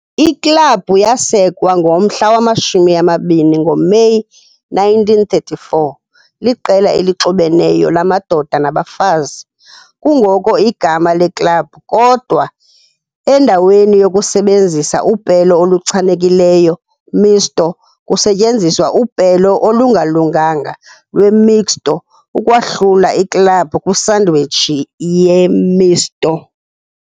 Iklabhu yasekwa ngoMeyi 20, 1934, liqela elixubeneyo lamadoda nabafazi, kungoko igama leklabhu, kodwa endaweni yokusebenzisa upelo oluchanekileyo Misto, kusetyenziswa upelo olungalunganga lweMixto, ukwahlula iklabhu kwisandwich ye-misto.